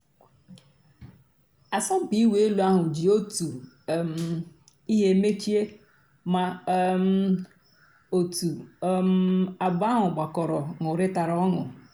àsọ̀mpị́ ị̀wụ́ èlú àhú́ jì ótú um ị́hé mèchíé má um ótú um àbụ́ọ́ àhú́ gbàkọ́rọ́ nụ́rị́tàrá ọnụ́.